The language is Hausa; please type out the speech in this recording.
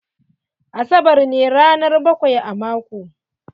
Asabar ne ranar bakwai a mako.